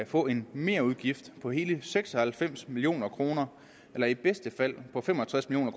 få en merudgift på hele seks og halvfems million kroner eller i bedste fald på fem og tres million